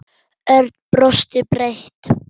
Örn brosti breitt.